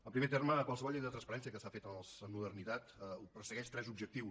en primer terme qualsevol llei de la transparència que s’ha fet en modernitat persegueix tres objectius